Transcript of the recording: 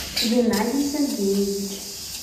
геннадий сергеевич